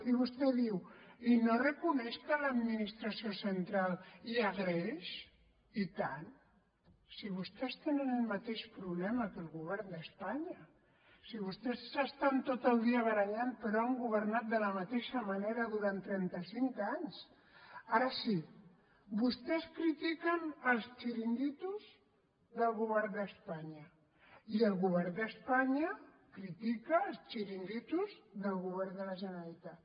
i vostè diu i no reconeix que a l’administració central hi ha greix i tant si vostès tenen el mateix problema que el govern d’espanya si vostès s’estan tot el dia barallant però han governat de la mateixa manera durant trenta cinc anys ara sí vostès critiquen els xiringuitos del govern d’espanya i el govern d’espanya critica els del govern de la generalitat